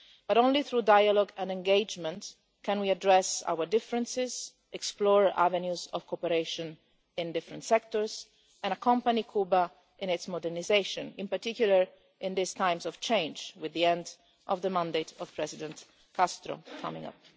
But only through dialogue and engagement can we address our differences, explore avenues of cooperation in different sectors and accompany Cuba in its modernisation, in particular in these times of change, with the end of President Castro's mandate coming up.